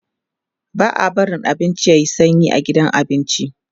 ba'a barin abinci yayi sanyi a gidan abinci